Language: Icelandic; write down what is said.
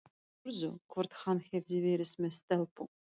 Spurði hvort hann hefði verið með stelpu.